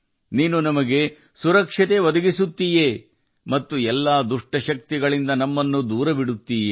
ನೀನು ನಮಗೆ ರಕ್ಷಕ ಮತ್ತು ಎಲ್ಲ ದುಷ್ಟರಿಂದ ನಮ್ಮನ್ನು ದೂರವಿಡುವವ